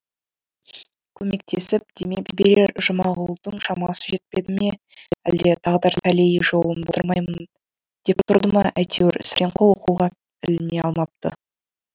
көмектесіп демеп жіберер жұмағұлдың шамасы жетпеді ме әлде тағдыр тәлейі жолын болдырмайын деп тұрды ма әйтеуір сәрсенқұл оқуға іліне алмапты